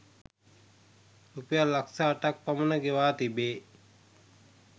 රුපියල් ලක්ෂ අටක් පමණ ගෙවා තිබේ.